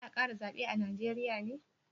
Za a kara zabe a Najeriya ne?